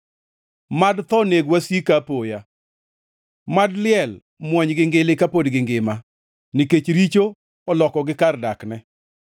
Mad tho neg wasika apoya, mad liel mwonygi ngili kapod gingima, nikech richo olokogi kar dakne.